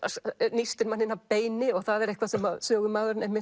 nístir mann inn að beini og það er eitthvað sem sögumaðurinn